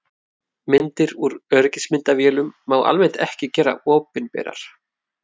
Myndir úr öryggismyndavélum má almennt ekki gera opinberar.